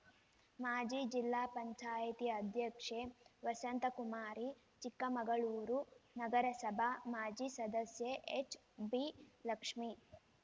ಮಾಜಿ ಜಿಲ್ಲಾ ಪಂಚಾಯತಿ ಅಧ್ಯಕ್ಷೆ ವಸಂತಕುಮಾರಿ ಚಿಕ್ಕಮಗಳೂರು ನಗರಸಬಾ ಮಾಜಿ ಸದಸ್ಯೆ ಎಚ್‌ಬಿ ಲಕ್ಷ್ಮಿ